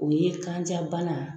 U ye kanja bana